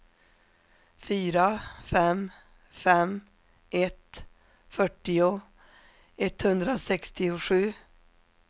fyra fem fem ett fyrtio etthundrasextiosju